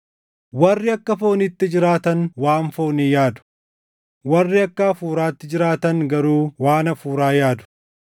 Warri akka fooniitti jiraatan waan foonii yaadu; warri akka Hafuuraatti jiraatan garuu waan Hafuuraa yaadu.